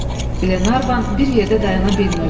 Glenarvan bir yerdə dayana bilmirdi.